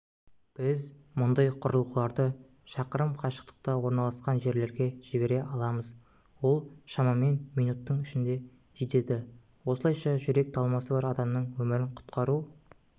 біз мұндай құрылғыларды шақырым қашықтықта орналасқан жерлерге жібере аламыз ол шамамен минуттың ішінде жетеді осылайша жүрек талмасы бар адамның өмірін құтқару